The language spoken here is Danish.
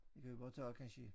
Det kan vi godt tage kansje